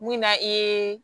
Mun na i ye